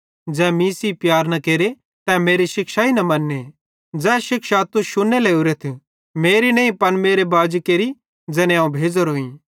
ज़ै मीं सेइं प्यार न केरे तै मेरे शिक्षाई न मन्ने ज़ै शिक्षा तुस शुन्ने लोरेथ मेरी नईं पन मेरे बाजी केरि ज़ैने अवं भेज़ोरोईं